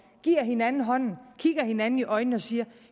giver hinanden hånden kigger hinanden i øjnene og siger